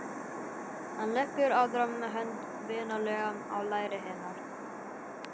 Hann leggur aðra hönd vinalega á læri hennar.